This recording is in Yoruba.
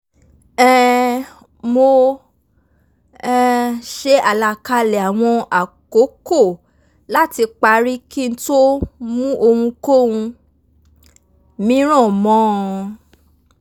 um mo um ṣe àlàkalẹ̀ àwọn àkókò láti parí kí n tó mú ohunkóhun mìíràn mọ́ ọn